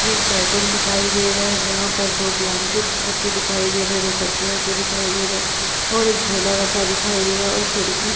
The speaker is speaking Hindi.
ये एक बेडरूम दिखाई दे रहा है जहाँ पर दो ब्लैंकेट रखे दिखाई दे रहें हैं। दो तकिया रखी दिखाई दे रहें हैं और एक झोला रखा दिखाई दे रहा और एक खिड़की --